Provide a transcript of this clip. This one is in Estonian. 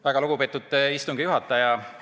Väga lugupeetud istungi juhataja!